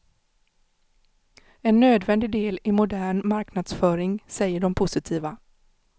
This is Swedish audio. En nödvändig del i modern marknadsföring, säger de positiva.